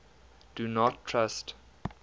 do not trust